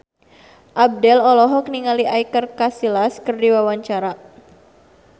Abdel olohok ningali Iker Casillas keur diwawancara